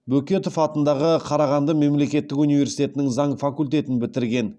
бөкетов атындағы қарағанды мемлекеттік университетінің заң факультетін бітірген